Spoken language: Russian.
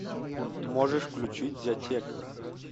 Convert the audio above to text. можешь включить зятек